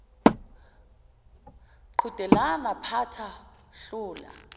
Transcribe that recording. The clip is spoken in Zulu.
qhudelana phatha hlula